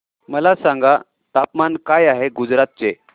मला सांगा तापमान काय आहे गुजरात चे